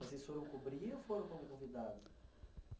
Vocês foram cobrir ou foram convidados?